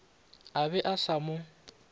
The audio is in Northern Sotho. a be a sa mo